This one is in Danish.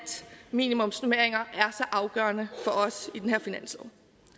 minimumsnormeringer er så afgørende for os i den her finanslov